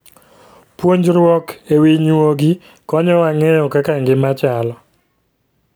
Puonjruok e wi nyuogi konyowa ng'eyo kaka ngima chalo.